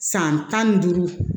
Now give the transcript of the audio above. San tan ni duuru